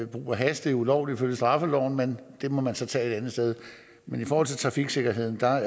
brug af hash ulovligt ifølge straffeloven men det må man så tage et andet sted men i forhold til trafiksikkerheden er